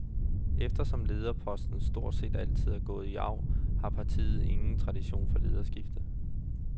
Eftersom lederposten stort set altid er gået i arv, har partiet ingen tradition for lederskifter.